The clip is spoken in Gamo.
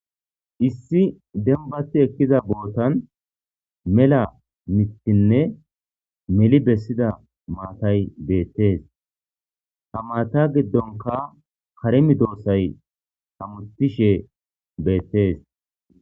issi dembati ekkiza bootan mela mittinne meli bessida maatay beettees ha maata giddonka karemi doossay hamutishe beettees